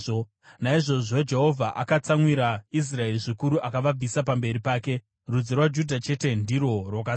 Naizvozvo Jehovha akatsamwira Israeri zvikuru akavabvisa pamberi pake. Rudzi rwaJudha chete ndirwo rwakasara,